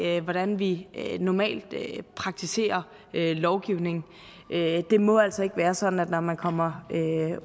af hvordan vi normalt praktiserer lovgivning det må altså ikke være sådan at man når man kommer